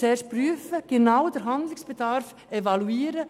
Zuerst muss der Handlungsbedarf evaluiert werden.